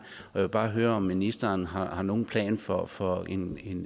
vil bare høre om ministeren har nogen plan for for en